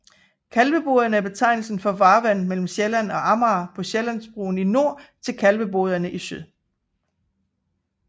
Kalveboderne er betegnelsen for farvandet mellem Sjælland og Amager fra Sjællandsbroen i nord til Kalvebodbroerne i syd